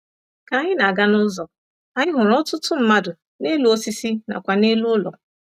Ka anyị na-aga n'ụzọ, anyị hụrụ ọtụtụ mmadụ n’elu osisi nakwa n’elu ụlọ.